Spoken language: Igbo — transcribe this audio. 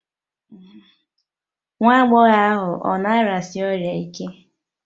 Nwa agbọghọ ahụ ọ̀ na-arịasi ọrịa ike?